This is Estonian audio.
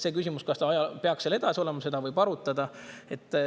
Seda küsimust, kas ta peaks seal edasi olema, võib arutada.